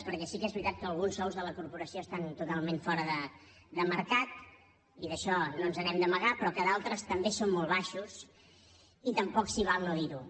perquè sí que és veritat que alguns sous de la corporació estan totalment fora de mercat i d’això no ens n’hem d’amagar però d’altres també són molt baixos i tampoc s’hi val no dir ho